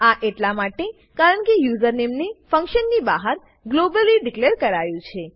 આ એટલા માટે કારણકે યુઝરનેમ ને ફંક્શન ની બહાર ગ્લોબલી ડીકલેર કરાયું છે